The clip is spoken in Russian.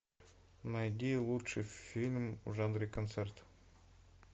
найди лучший фильм в жанре концерт